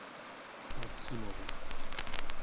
максимовым